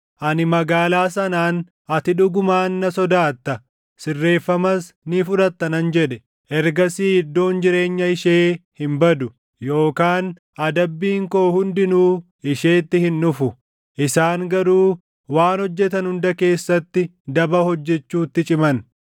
Ani magaalaa sanaan, ‘Ati dhugumaan na sodaatta; sirreeffamas ni fudhatta!’ nan jedhe. Ergasii iddoon jireenya ishee hin badu yookaan adabbiin koo hundinuu isheetti hin dhufu. Isaan garuu waan hojjetan hunda keessatti daba hojjechuutti ciman.